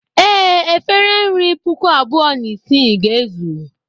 Ee, efere nri puku abụọ na isii ga-ezu.